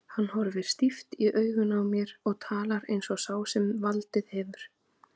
Hann horfir stíft í augun á mér og talar eins og sá sem valdið hefur.